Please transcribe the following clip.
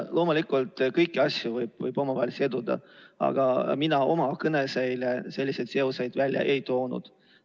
Loomulikult, kõiki asju võib omavahel siduda, aga mina oma kõnes eile selliseid seoseid välja ei toonud.